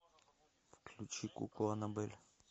включи куклу анабель